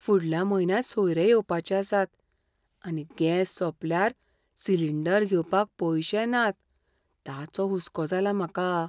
फुडल्या म्हयन्यांत सोयरे येवपाचे आसात, आनी गॅस सोंपल्यार सिलिंडर घेवपाक पयशे नात ताचो हुसको जाला म्हाका.